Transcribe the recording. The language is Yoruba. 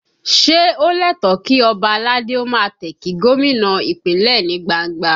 Ṣé ó lẹ́tọ̀ọ̀ kí ọba aládé ó máa tẹ̀ kí gómìnà Ìpínlẹ̀ ní gbangba?